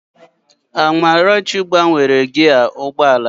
Amarachi gbanwere gịaa ụgbọ ala ya